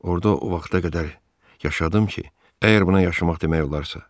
Orda o vaxta qədər yaşadım ki, əgər buna yaşamaq demək olarsa.